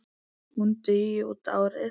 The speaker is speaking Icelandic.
Hún dugi út árið.